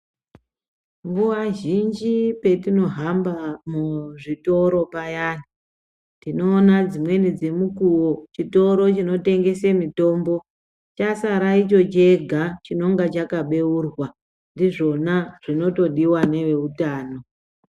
Nguwa zhinji petinohanba muzvitoro payani ,tinoona dzimweni dzemukuwo, chitoro chinotengese mitombo, chasara icho chega, chinonga chakabeurwa Ndizvona zvinotodiwa neveutano.